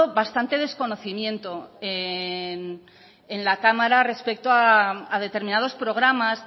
bastante desconocimiento en la cámara respecto a determinados programas